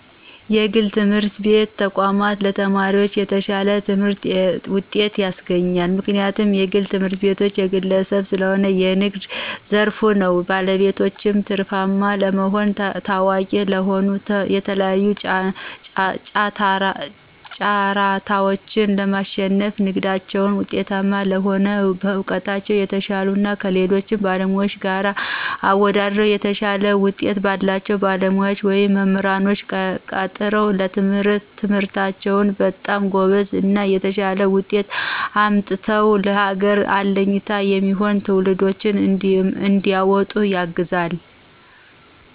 የግል ትምህርት ቤት ተቋማቶች ለተማሪዎች የተሻለ ትምህርትና ጤቶችን ያስገኛሉ። ምክንያቱም የግል ትምህርትቤቶች የግለሰብ ሰለሆነ የንግድ ዘርፍ ነው ባለቤቶችም ትርፋማ ለመሆንና ታዋቂ ለመሆ የተለያዩ ጫራታዎችን ለማሽነፍና ንግዳቸው ውጤታማ ለመሆን በእውቀታቸው የተሻሉ እና ከሌሎች ባለሙያዎች ጋር አወደድረው የተሻለ ውጤት ባላቸው ባለሙያዎች ወይም መምራንኖች ቀጥረው በትምህርታቸው በጣም ጎበዝ እና የተሻለ ውጤት አምጥተው ለሀገር አለኝታ የሚሆኑ ትውልዶችንም እንዲወጡ ያግዛል።